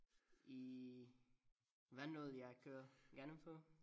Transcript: I Vandel jeg kører gennem før